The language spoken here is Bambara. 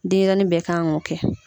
Denɲɛrɛnin bɛɛ kan k'o kɛ